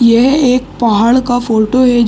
यह एक पहाड़ का फोटो है।